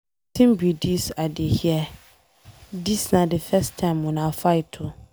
Wetin be dis I dey hear? Dis na the first time una fight oo.